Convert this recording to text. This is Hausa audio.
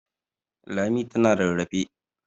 Lami tana rarrafe?